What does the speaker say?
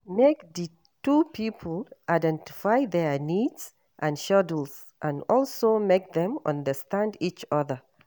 Make di two pipo identify their needs and schedule and also make them understand each other